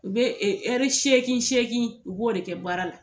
U be e ɛri seegi seegi u b'o de kɛ baara la